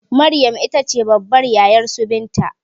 Maryam itace babbar yayarsu binta